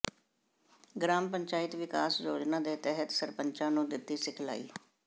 gram panchayat ਵਿਕਾਸ ਯੋਜਨਾ ਦੇ ਤਹਿਤ ਸਰਪੰਚਾਂ ਨੂੰ ਦਿੱਤੀ ਸਿਖਲਾਈ